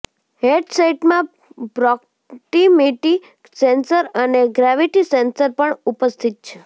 હેંડસેટમાં proximity sensor અને gravity sensor પણ ઉપસ્થિત છે